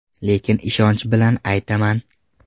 Lekin ishonch bilan aytaman.